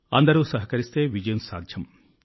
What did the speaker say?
అందరూ సహకరిస్తే విజయం సాధ్యం